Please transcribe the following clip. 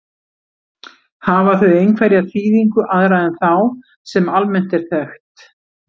Hafa þau einhverja þýðingu aðra en þá, sem almennt er þekkt?